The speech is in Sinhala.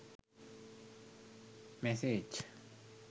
massage